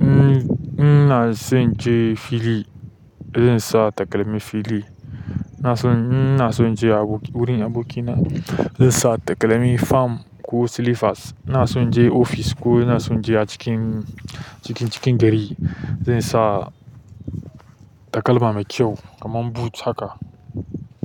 In, ina zan je fili, zan sa takalmin fili. Ina son, ina son je aboki wurin abokina, zan sa takalmi fam ko slippers. Ina son je ofis ko ina son je a cikin, cikin, cikin gari, zan sa takalma mai kyau kaman boot haka.